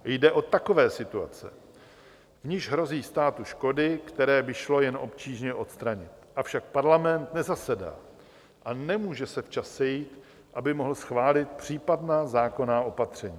Jde o takové situace, v nichž hrozí státu škody, které by šlo jen obtížně odstranit, avšak parlament nezasedá a nemůže se včas sejít, aby mohl schválit případná zákonná opatření.